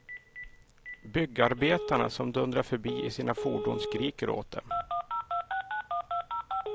Byggarbetarna som dundrar förbi i sina fordon skriker åt dem.